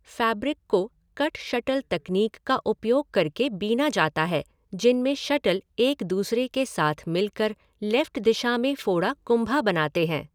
Fabric को 'cut shuttle तकनीक' का उपयोग करके बीना जाता है जिनमे शटल एक दूसरे के साथ मिलकर लेफ़्ट दिशा में फोड़ा कुंभा बनाते हैं।